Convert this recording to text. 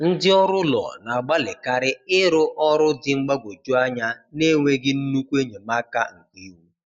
Ndị ọrụ ụlọ na-agbalịkarị ịrrụ ọrụ dị mgbagwoju anya n’enweghị nnukwu enyemaka nke iwu.